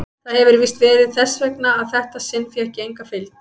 Það hefir víst verið þess vegna að þetta sinn fékk ég enga fylgd.